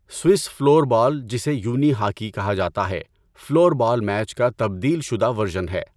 Swiss floor ball جسے unihockey کہا جاتا ہے فلور بال میچ کا تبدیل شدہ ورژن ہے۔